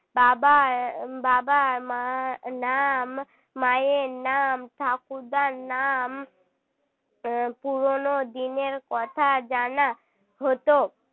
বাবার বাবা মা নাম মায়ের নাম ঠাকুরদার নাম পুরনো দিনের কথা জানা হত